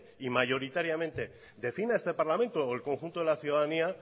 y mayoritariamente defina este parlamento o el conjunto de la ciudadanía